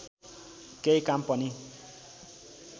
केही काम पनि